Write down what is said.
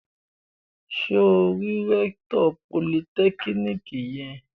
Ṣé o rí rẹ́kítọ̀ politẹ́kíníkì yẹn?